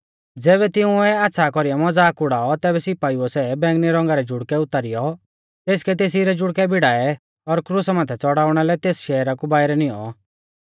ज़ैबै तिंउऐ आच़्छ़ा कौरीऐ मज़ाक उड़ाऔ तैबै सिपाइउऐ सै बैंगनी रौंगा रै जुड़कै उतारीयौ तेसकै तेसी रै जुड़कै भिड़ाऐ और क्रुसा माथै च़ड़ाउणा लै तेस शहरा कु बाइरै निऔं